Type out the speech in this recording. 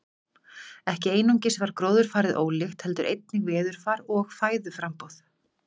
Ekki einungis var gróðurfarið ólíkt heldur einnig veðurfar og fæðuframboð.